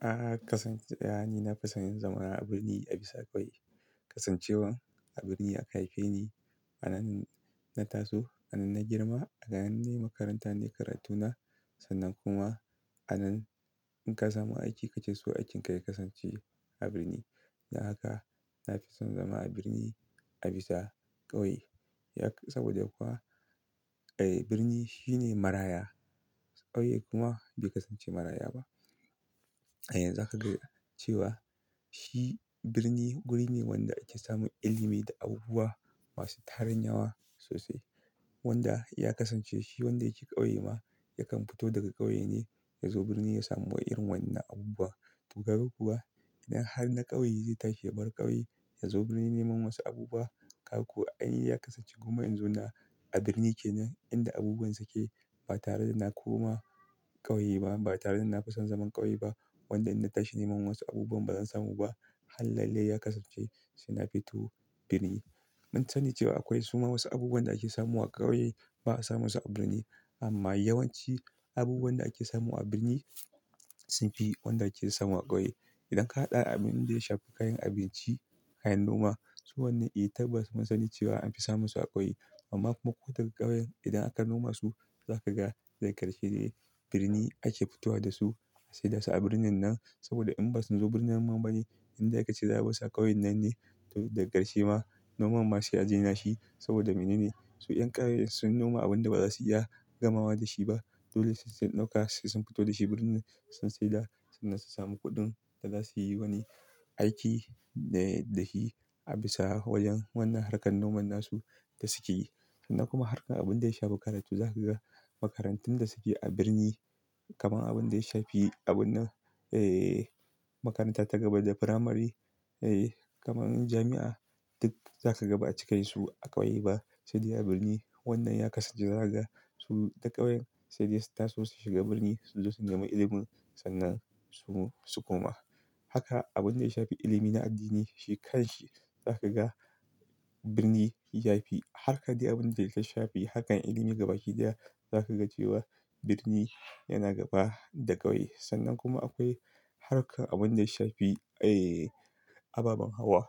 A'a kasance, a'a ni na fi son yin zamana a birni a bisa ƙauye. Kasancewan a birni aka haife ni, a nan na taso, a nan na girma, a nan na makaranta na karatu na. Sannan kuma a nan in ka samu aiki kace so aikin ka ya kasance a birni. Don haka na fi son zama a birni a bisa ƙauye. Yak- saboda kuwa, eh birni shine maraya. Ƙauye kuma bai kasance maraya ba. A yanzu aka ga cewa shi birni wuri ne wanda ake samun ilimi da abubuwa masu tarin yawa sosai. Wanda ya kasance shi wanda yake ƙauye ma, yakan fito daga ƙauye ne ya zo birni ya samu irin wannan abubuwa. To ka gan kuwa idan har na ƙauye zai tashi ya bar ƙauye ya zo birni neman wasu abubuwa. Ka gan kuwa an yi ya kasance kuma in zo na a birni ke nan inda abubuwan suke. Ba tare da na koma ƙauye ba, ba tare da na fi son zaman ƙauye ba. Wanda idan na tashi neman wasu abubuwan ba zan samu ba. Hallelle ya kasance sai na fito birni. Mun sani cewa akwai suma wasu abubuwan da ake samu wa ƙauye ba a samu su a birni. Amma yawanci abubuwan da ake samu a birni sun fi wanda ake samu a ƙauye. Idan ka haɗa abin da ya shafi kayan abinci, kayan noma su wannan eh tabbas mun sani cewa an fi samun su a ƙauye. Amma mako daga ƙauyen idan aka noma su za ka ga zai karshe ne birni ake fitowa da su. Sai da su a birnin nan saboda in ba su zo birnin man bani inda ya kasance daban sa ƙauyen nan ne. To daga ƙarshe ma noman masu ya jina shi saboda mene ne? Su 'yan ƙauyen sun noma abin da ba za su iya gamawa da shi ba. Dole sai sauƙa sai sun fito da shi birni sun saida sannan su sami kuɗin da za su yi wani aiki dai da shi a bisa wajen wannan harkar noman na su da suke yi. Sannan kuma harkar abin da ya shafi karatu za ka ga makarantun da suke a birni kamar abin da ya shafi abun eh makaranta ta gaba da firamare, eh kamar jami'a duk za ka ga ba a cikinsu a ƙauye ba. Sai dai a birni wannan ya kasance zaga su ta ƙauyen sai dai su taso su shiga birni su zo su nemi ilimin sannan su koma. Haka abin da ya shafi ilimi na addini shi kan shi za ka ga birni ya fi. Harka dai abin da yake shafi harkar ilimi gaba daya za ka ga cewa birni yana gaba da ƙauye. Sannan kuma akwai harkar abin da ya shafi eh ababen hawa.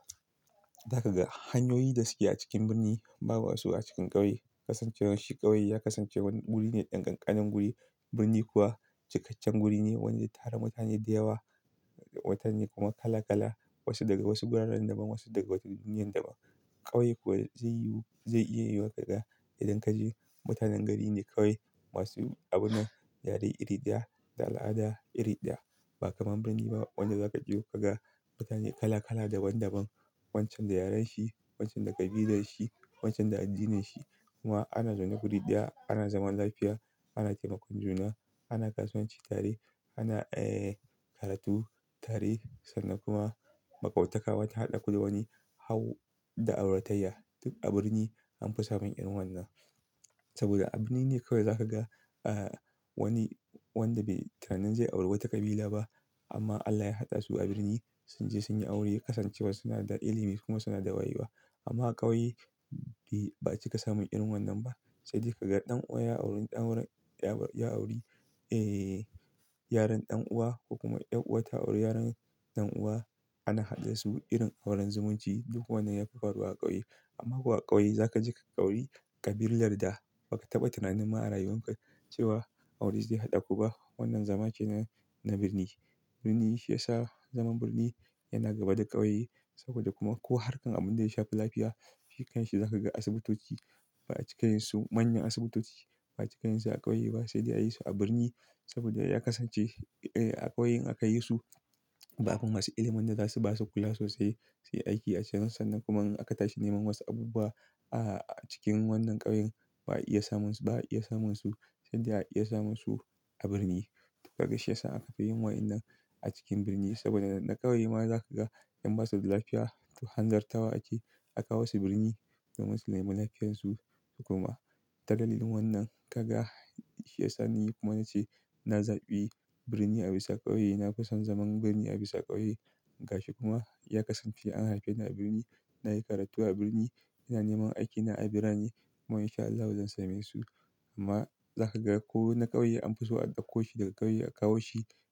Za ka ga hanyoyi da suke a cikin birni babu su a cikin ƙauye. Kasancewar shi ƙauye ya kasance wani wuri ne ɗan ƙanƙanin wuri. Birni kuwa cikakken wuri ne wanda ya tara mutane da yawa. Mutane kuma kala kala wasu daga wasu guraran daban wasu daga wasu duniyyan daban. Ƙauye kuwa zai yiwu zai iya yiwuwa ka ga idan ka je mutanen gari ne ƙauye masu abun dare iri da, al'ada iri da. Ba kamar birni ba wanda za ka je ka ga mutane kala kala daban daban. Wancan da yaren shi, wancan da ƙabilan shi, wancan da addinin shi. Kuma ana zaune guri ɗaya, ana zaman lafiya, ana taimakon juna, ana kasuwanci, tare, ana eh karatu, tare sannan kuma maƙauntaka wani haɗa ku da wani hau da auratayya. Duk a birni an fi samun irin wannan. Saboda a birni ne kawai za ka ga ah wani wanda bai tunanin zai auri wata ƙabila ba amma Allah ya haɗa su a birni sun je sun yi aure. Kasancewar suna da ilimi kuma suna da wayewa. Amma ƙauye eh ba cika samun irin wannan ba. Sai dai ka ga ɗan uwa ya auri ɗan aurar ya-ya auri eh yaron ɗan uwa kuma yan'uwar ta auri yaron dan uwa. Ana haɗa su irin auren zumunci duk wannan ya fi faruwa a ƙauye. Amma kuwa a ƙauye za ka ji ƙauri ƙabilar da ba ka taɓa tunanina a rayuwanka cewa aure zai haɗa ku ba wannan zama ce na birni. Birni shi ya sa zaman birni yana gaba da ƙauye. Saboda kuma ko harkar abin da ya shafi lafiya shi kanshi za ka ga asibitoci ba a cikinsu manyan asibitoci ba a cikinsu a ƙauye ba. Sai dai a yi su a birni saboda ya kasance eh a ƙauyen aka yi su babu masu ilimin da za su ba su kula sosai. Sai aiki a cana sannan kuma in aka tashi neman wasu abubuwa a cikin wannan ƙauyen ba iya samun su, ba iya samun su sai dai a iya samun su a birni. Duk haka shi ya sa aka fi yin wa'inan a cikin birni saboda na ƙauye ma za ka ga in ba su da lafiya tuhanzarta wa ake. A kawo su birni don wasu neman lafiyan su. Kuma ta dalilin wannan ka ga shi ya sani kuma na ce na zaɓi birni a bisa ƙauye. Na fi son zaman birni a bisa ƙauye. Gashi kuma ya kasance an haife ni a birni, na yi karatu a birni, ina neman aikina a birni. Kuma in sha Allahu zan same su. Amma za ka ga ko na ƙauye an fi so a ɗauko shi daga ƙauye a kawo shi.